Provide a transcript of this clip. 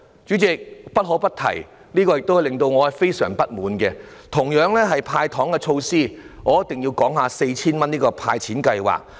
主席，我不得不提，有一點令我感到非常不滿，也是關於"派糖"的措施，我一定要談談 4,000 元的"派錢"計劃。